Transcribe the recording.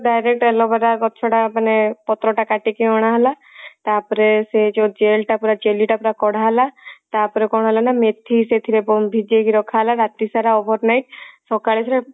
direct aloe vera ଗଛ ଟା ମାନେ ପତ୍ର ଟା କାଟିକି ଅଣା ହେଲା ତାପରେ ସେ ଯଉ gel ଟା ପୁରା jelly ଟା ପୁରା କଢା ହେଲା ତାପରେ କଣ ହେଲା ନା ମେଥି ସେଥିରେ ମ ଭିଜେଇକି ରଖା ହେଲା ରାତି ସାରା over night ସକାଳେ ସିଏ